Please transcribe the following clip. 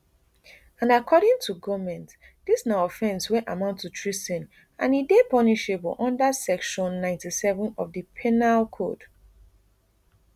and according to goment dis na offence wey amount to treason and e dey punishable unda section ninety-seven of di penal code